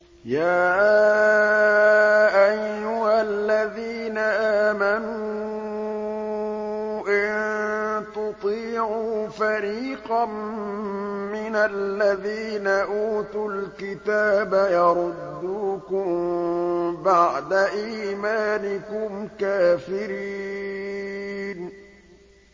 يَا أَيُّهَا الَّذِينَ آمَنُوا إِن تُطِيعُوا فَرِيقًا مِّنَ الَّذِينَ أُوتُوا الْكِتَابَ يَرُدُّوكُم بَعْدَ إِيمَانِكُمْ كَافِرِينَ